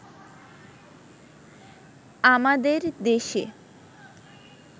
আমাদের দেশে